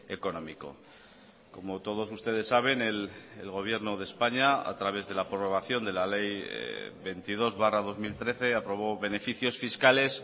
económico como todos ustedes saben el gobierno de españa a través de la prorrogación de la ley veintidós barra dos mil trece aprobó beneficios fiscales